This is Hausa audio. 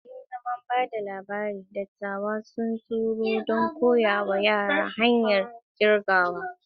Yayin zaman ba da labari, dattawa sun taru don koya wa yara hanyar kirgawa.